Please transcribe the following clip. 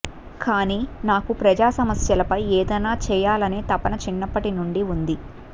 కానీ నాకు ప్రజా సమస్యలపై ఏదైనా చేయాలనే తపన చిన్నప్పటి నుండి ఉంది